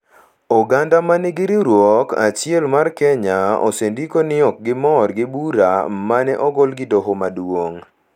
Oganda ma nigi riwruok achiel mar Kenya osendiko ni ok gimor gi bura ma ne ogol gi Doho Maduong’